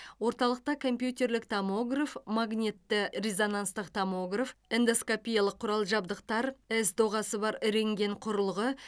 орталықта компьютерлік томограф магнитті резонанстық томограф эндоскопиялық құрал жабдықтар с доғасы бар рентген құрылғы